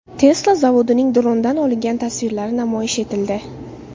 Tesla zavodining drondan olingan tasvirlari namoyish etildi.